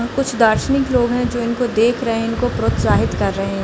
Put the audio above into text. और कुछ दार्शनिक लोग हैं जो इनको देख रहे हैं इनको प्रोत्साहित कर रहे हैं।